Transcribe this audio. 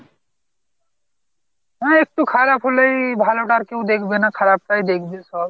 হ্যাঁ একটু খারাপ হলেই ভালোটা আর কেউ দেখবে না খারাপ টাই দেখবে সব।